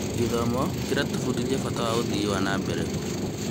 Gĩthomo kĩratũbundithia bata wa ũthii wa na mbere.